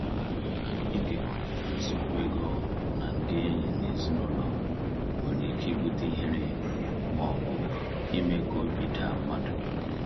Ịkekọrịta nsogbu ego na ndị enyi na ezinụlọ nwere ike ibute ihere ma ọ bụ ime ka obi daa mmadụ.